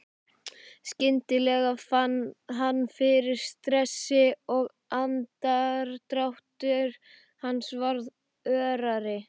Skyndilega fann hann fyrir stressi og andardráttur hans varð örari.